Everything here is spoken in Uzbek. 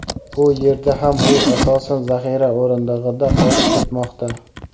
Bu yerda ham u asosan zaxira o‘rindig‘ida qolib ketmoqda.